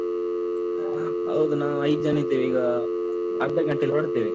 ಹೌದು. ನಾವ್ ಐದ್ ಜನ ಇದ್ದೇವೆ. ಈಗ ಅರ್ಧ ಗಂಟೇಲ್ ಹೊರಡ್ತೇವೆ.